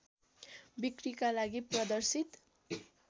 बिक्रीका लागि प्रदर्शित